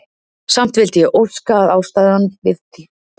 Samt vildi ég óska, að ástæðan til komu þinnar væri gleðilegri.